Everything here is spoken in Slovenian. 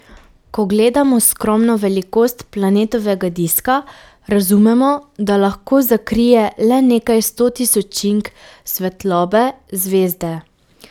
Ko gledamo skromno velikost planetovega diska, razumemo, da lahko zakrije le nekaj stotisočink svetlobe zvezde.